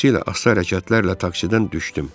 Xüsusilə asta hərəkətlərlə taksidən düşdüm.